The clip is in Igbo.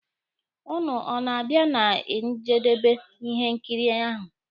Ụnụ ọ na-abịa na njedebe ihe nkiri ahụ?